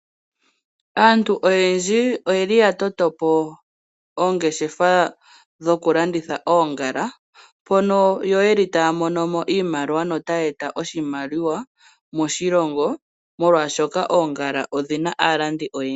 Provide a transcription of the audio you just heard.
Aantu oyendji oya toto po oongeshefa dhokulanditha oongala, mono yo ye li taya mono mo iimaliwa notaya eta oshimaliwa moshilongo, molwashoka oongala odhi na aalandi oyendji.